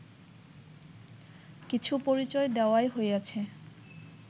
কিছু পরিচয় দেওয়াই হইয়াছে